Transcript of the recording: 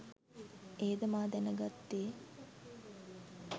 එයද මා දැන ගත්තේ